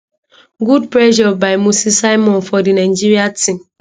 good pressure by moses simon for di nigeria team